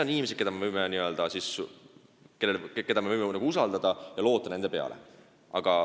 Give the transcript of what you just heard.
Need on inimesed, keda me võime usaldada ja kelle peale loota.